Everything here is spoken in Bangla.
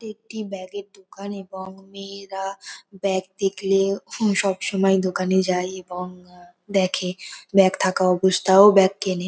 এটি একটি ব্যাগ এর দোকান বং মেয়েরা ব্যাগ দেখলে হুম সবসময়ই দোকানে যায় এবং দেখে ব্যাগ থাকা অবস্থায়ও ব্যাগ কেনে--